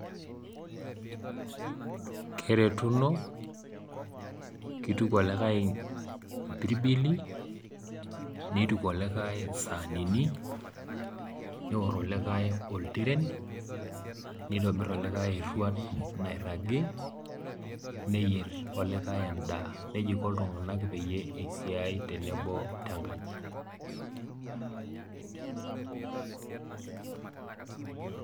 Keretuno, keituku olikai imbilibili, neituku olikai isaanini, neor olikai oltiren, neitobir olikai eruat nairagi, neyer olikai endaa. Neija iko iltung'ana peyie eisiai tenkaji.